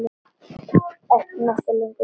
Hverjir eru að keppa?